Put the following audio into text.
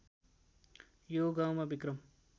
यो गाउँमा विक्रम